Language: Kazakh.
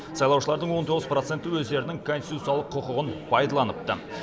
сайлаушылардың он тоғыз проценті өздерінің конституциялық құқығын пайдаланыпты